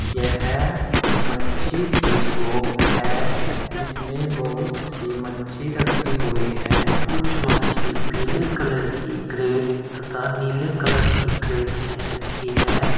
यह मच्छी की शॉप है जिसमें बहुत सी मच्छी रखी हुई है कुछ मच्छी पीले कलर की क्रेट तथा नीले कलर की क्रेट में रखी है।